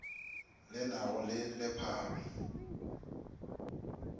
le na go le lepharo